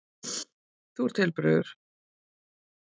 Þú ert heilbrigður.